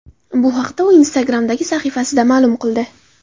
Bu haqda u Instagram’dagi sahifasida ma’lum qildi.